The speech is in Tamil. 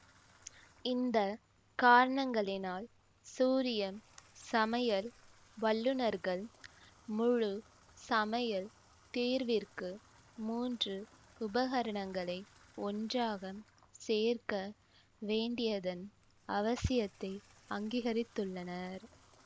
இந்த காரணங்களினால் சூரியன் சமையல் வல்லுனர்கள் முழு சமையல் தீர்விற்கு மூன்று உபகரணங்களை ஒன்றாக சேர்க்க வேண்டியதன் அவசியத்தை அங்கீகரித்துள்ளனர்